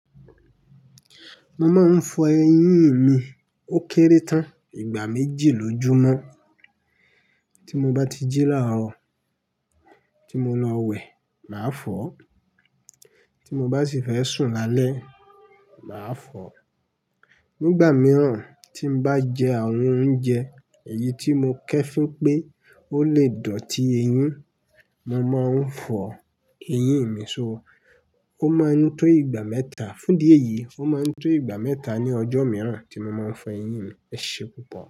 Mo máa ń fọ eyín mi ó kéré tán, ìgbà méjì lójúmọ́. Tí mo bá ti jí laarọ, tí mo lọ wẹ̀, màá fọ̀. Tí mo bá sì fẹ́ sùn lálẹ́, màá fọ̀. Nígbà mìíràn tí n bá jẹ àwọn oúnjẹ èyí tí mo kẹẹfin pé ó le dọ̀tí eyín, mo máa ń fọ eyín mi Ó máa ń tó ìgbà mẹ́ta. Fún idi eyi, ó máa ń tó ìgbà mẹ́ta ní ọjọ́ mìíràn tí mo máa ń fọ eyín mi. Ẹ ṣe púpọ̀.